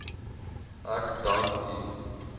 ek dank u